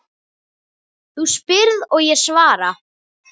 Þú spyrð og ég svara.